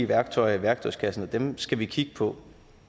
værktøjer i værktøjskassen og dem skal vi kigge på